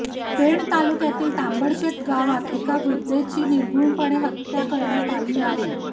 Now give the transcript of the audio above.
पेण तालुक्यातील तांबडशेत गावात एका वृद्धेची निर्घृणपणे हत्या करण्यात आली आहे